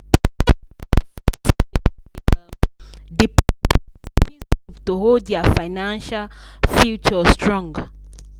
plenty people for village dey um depend on savings group to hold their financial future strong.